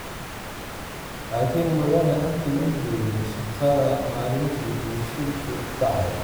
Laakin Mudane Cabdi ma joogin shaqada maalintii uu shilku dhacay.